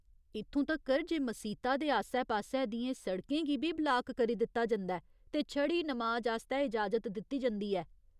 इत्थूं तक्कर जे मसीता दे आस्सै पास्सै दियें सड़कें गी बी ब्लाक करी दित्ता जंदा ऐ ते छड़ी नमाज आस्तै इजाजत दित्ती जंदी ऐ।